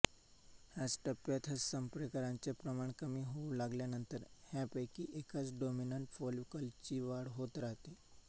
ह्याच टप्प्यात ह्या संप्रेरकांचे प्रमाण कमी होऊ लागल्यानंतर ह्यांपैकी एकाच डॉमिनंट फॉलिकलची वाढ होत राहते